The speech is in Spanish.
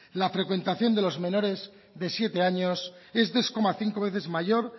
la frecuentación de los menores de siete años es dos coma cinco veces mayor